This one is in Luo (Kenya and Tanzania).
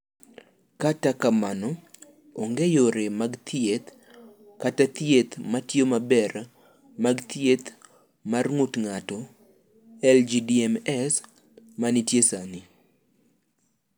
"Kata kamano, onge yore mag thieth kata thieth ma tiyo maber mag thieth mar ng’ut ng’ato (LGMDs) ma nitie sani."